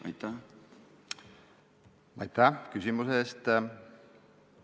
Aitäh küsimuse eest!